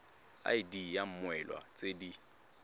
id ya mmoelwa tse di